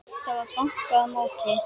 Það var bankað á móti.